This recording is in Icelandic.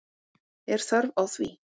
Er þörf á því?